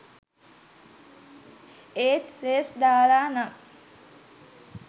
ඒත් රේස් දාලා නම්